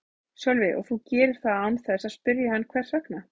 Sölvi: Og þú gerir það án þess að spyrja hann hvers vegna?